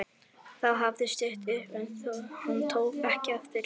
Þá hafði stytt upp en hann tók ekki eftir því.